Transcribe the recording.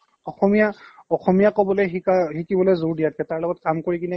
অসমীয়া, অসমীয়া ক'বলৈ শিকা শিকিবলৈ জোৰ দিয়াতকে তাৰ লগত কাম কৰি কিনে